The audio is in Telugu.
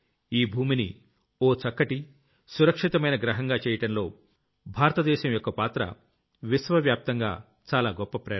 ఈ భూమిని ఓ చక్కటి సురక్షితమైన Planetగా చెయ్యడంలో భారతదేశం యొక్క పాత్ర విశ్వవ్యాప్తంగా చాలా గొప్ప ప్రేరణ